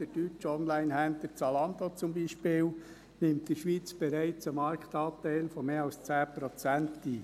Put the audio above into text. Der deutsche Onlinehändler Zalando beispielsweise nimmt in der Schweiz bereits einen Marktanteil von mehr als 10 Prozent ein.